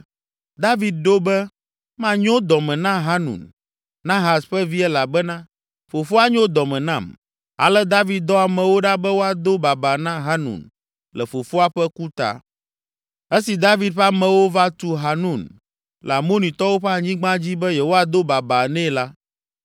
David ɖo be, “Manyo dɔme na Hanun, Nahas ƒe vi elabena fofoa nyo dɔme nam.” Ale David dɔ amewo ɖa be woado babaa na Hanun le fofoa ƒe ku ta. Esi David ƒe amewo va tu Hanun le Amonitɔwo ƒe anyigba dzi be yewoado babaa nɛ la,